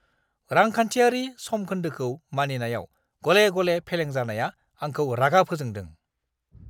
रांखान्थियारि समखोन्दोखौ मानिनायाव गले-गले फेलेंजानाया आंखौ रागा फोजोंदों।